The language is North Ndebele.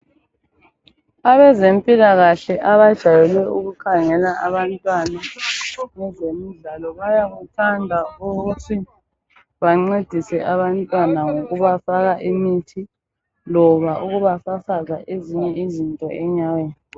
Abezempilakahle abajayele ukukhangela abantwana bezemidlalo bayakuthanda ukuthi bancedise abantwana ngokubafaka imithi loba ukubafafaza ezinye izinto enyaweni.